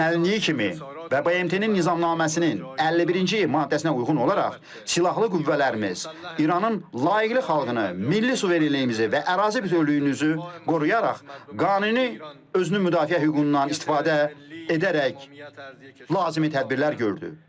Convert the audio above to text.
Gözlənildiyi kimi və BMT-nin nizamnaməsinin 51-ci maddəsinə uyğun olaraq silahlı qüvvələrimiz İranın layiqli xalqını, milli suverenliyimizi və ərazi bütövlüyümüzü qoruyaraq qanuni özünü müdafiə hüququndan istifadə edərək lazımi tədbirlər gördü.